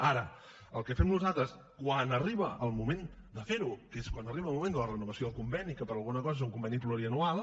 ara el que fem nosaltres quan arriba el moment de fer ho que és quan arriba el moment de la renovació del conveni que per alguna cosa és un conveni pluriennal